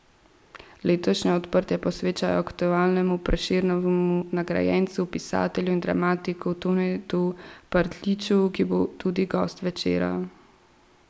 Letošnje odprtje posvečajo aktualnemu Prešernovemu nagrajencu, pisatelju in dramatiku Tonetu Partljiču, ki bo tudi gost večera.